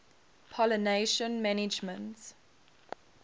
pollination management